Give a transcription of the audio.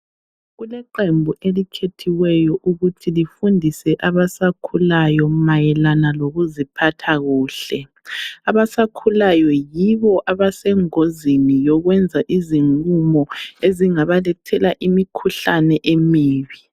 Kuleqembu elikhethiweyo ukuthi lifundise abasakhulayo mayelana lokuziphatha kuhle. Abasakhulayo yibo abasengozini yokwenza izinqumo ezingabalethela imikhuhlane emibi.